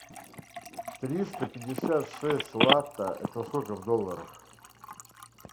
триста пятьдесят шесть лата это сколько в долларах